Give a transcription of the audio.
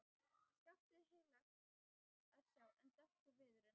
Skaftið heillegt að sjá en dökkur viðurinn.